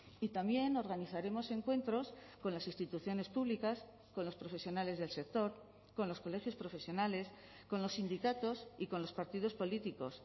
y también organizaremos encuentros con las instituciones públicas con los profesionales del sector con los colegios profesionales con los sindicatos y con los partidos políticos